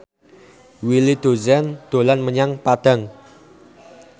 Willy Dozan dolan menyang Padang